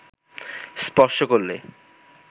স্পর্শ করলে